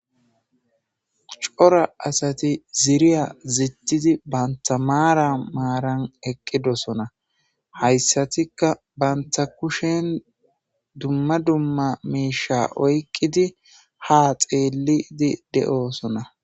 Cora asati ziriya zittidi banta maara maaran eqqidosona hayssatikka banta kushen dumma dumma miisha oyqqidi ha xeelidi de'oosona.